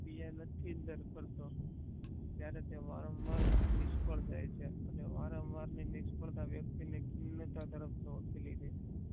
પ્રક્રિયા નથી દર પર તો ત્યારે તે વારંવાર નિષ્ફળ જાય છે અને વારંવારની નિષ્ફળતા વ્યક્તિને કિન્નતા તરફ ધોકેલી દે છે